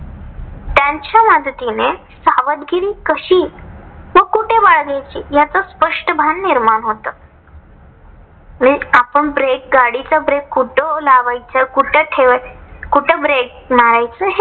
ह्या पद्धतीने सावधगिरी कशी व कुठे बाळगायची याच स्पष्ट भान निर्माण होतं. म्हणजे आपण break गाडीचा break कुठ लावायचा? कुठ ठेवाय कुठ break मारायचं?